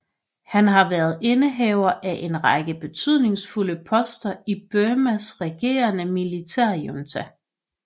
Han har været indehaver af en række betydningsfulde poster i Burmas regerende militærjunta